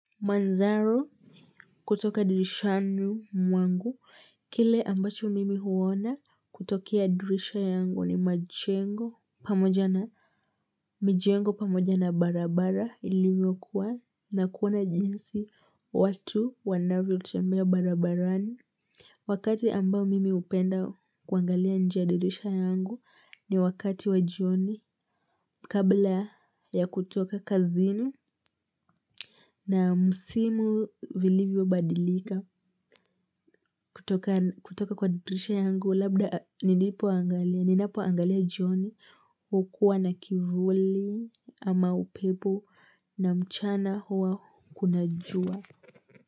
Manzaro kutoka dirishani mwangu. Kile ambacho mimi huona kutokea dirisha yangu ni majengo pamoja na mijengo pamoja na barabara iliyo kuwa na kuona jinsi watu wanavyo chemea barabarani. Wakati ambao mimi upenda kuangalia njia dirisha yangu ni wakati wa jioni kabla ya kutoka kazini na msimu vilivyo badilika. Kutoka kwa dirisha yangu labda ninapoangalia jioni hukua na kivuli ama upepo.